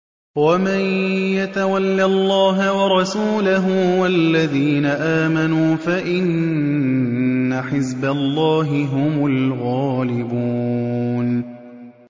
وَمَن يَتَوَلَّ اللَّهَ وَرَسُولَهُ وَالَّذِينَ آمَنُوا فَإِنَّ حِزْبَ اللَّهِ هُمُ الْغَالِبُونَ